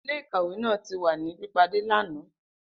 Ile-ikawe naa ti wa ni pipade lana.